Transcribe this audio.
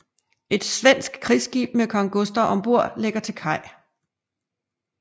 Et svensk krigsskib med kong Gustav ombord lægger til kaj